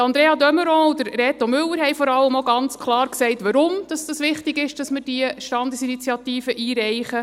Andrea de Meuron und Reto Müller haben vor allem ganz klar gesagt, weshalb es wichtig ist, dass wir diese Standesinitiative einreichen.